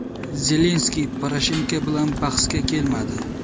Zelenskiy Poroshenko bilan bahsga kelmadi.